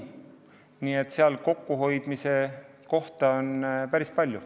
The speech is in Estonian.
Nii et seal on kokkuhoidmise kohti päris palju.